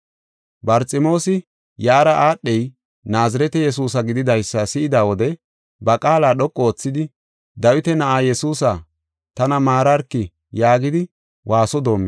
Barximoosi, yaara aadhey Naazirete Yesuusa gididaysa si7ida wode, ba qaala dhoqu oothidi, “Dawita na7aa Yesuusa, tana maararki!” yaagis.